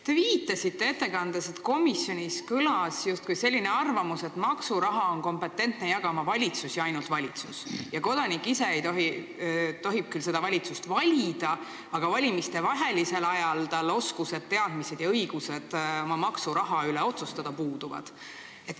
Te viitasite ettekandes, justkui kõlanuks komisjonis selline arvamus, et maksuraha on kompetentne jagama valitsus ja ainult valitsus ning kodanik tohib küll seda valitsust valida, aga valimistevahelisel ajal tal puuduvad oskused, teadmised ja õigused oma maksuraha üle otsustada.